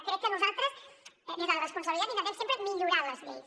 crec que nosaltres des de la responsabilitat intentem sempre millorar les lleis